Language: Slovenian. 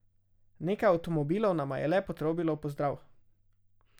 Nekaj avtomobilov nama je le potrobilo v pozdrav.